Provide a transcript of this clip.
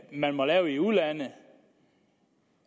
man må lave i udlandet